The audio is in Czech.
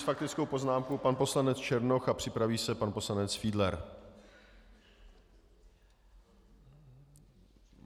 S faktickou poznámkou pan poslanec Černoch a připraví se pan poslanec Fiedler.